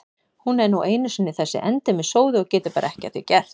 Hún er nú einu sinni þessi endemis sóði og getur bara ekki að því gert.